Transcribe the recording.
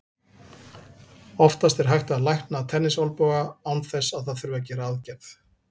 Oftast er hægt að lækna tennisolnboga án þess að það þurfi að gera aðgerð.